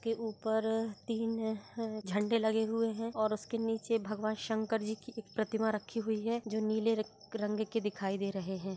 के ऊपर तीन अ झंडे लगे हुए है और उसके नीचे भगवान शंकर जी की एक प्रतिमा रखी हुई है जो नीले रग रंग की दिखाई दे रहे है।